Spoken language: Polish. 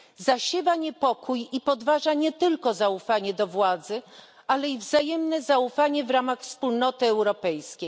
Zasiewa niepokój i podważa nie tylko zaufanie do władzy, ale i wzajemne zaufanie w ramach Wspólnoty Europejskiej.